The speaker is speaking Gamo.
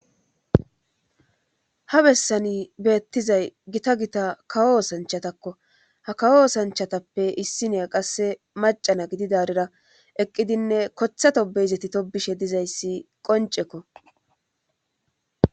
Ha bessani beettizay gita gita kawo osanchatakko ha kawo osanchatappe issinea qasse macana gidi daarira eqqidinne kothato beizeti to bishe dizayssi qoncekko.